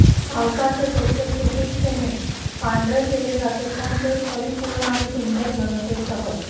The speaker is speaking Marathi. पावसाचे वृक्ष सुपिकतेने पांढरे केले जाते पण ते परिपूर्ण आणि सुंदर घनतेसह